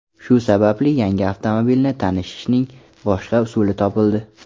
Shu sababli yangi avtomobilni tashishning boshqa usuli topildi.